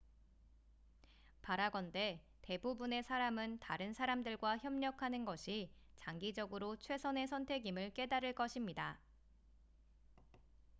바라건대 대부분의 사람은 다른 사람들과 협력하는 것이 장기적으로 최선의 선택임을 깨달을 것입니다